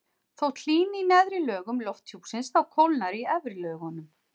þótt hlýni í neðri lögum lofthjúpsins þá kólnar í efri lögunum